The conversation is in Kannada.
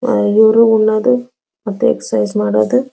ಅಹ್ ಇವ್ರು ಉನ್ನೊಂದು ಮತ್ತು ಎಕ್ಸಾಸೈಸ್ ಮಾಡೋದು --